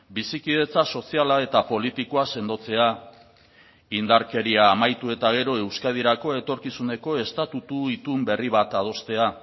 bizikidetza soziala eta politikoa sendotzea indarkeria amaitu eta gero euskadirako etorkizuneko estatutu itun berri bat adostea